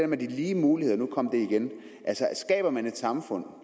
med de lige muligheder for nu kom det igen skaber man et samfund